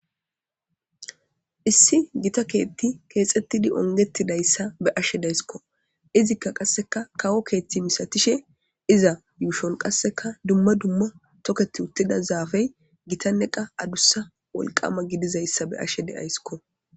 Issi gita keethti keexettidi ongetidayssa be ashe daysikko izikka qasseka kawo keethti misatishe iza yuushon qasseka dumma dumma toketi uttida zaafey gitanneqa adussa wolqama gidizayssa be ashe de7ayskko.